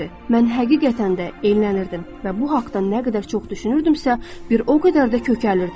Mən həqiqətən də köklənirdim və bu haqda nə qədər çox düşünürdümsə, bir o qədər də kökəlirdim.